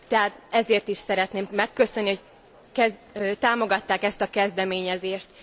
Tehát ezért is szeretném megköszönni, hogy támogatták ezt a kezdeményezést.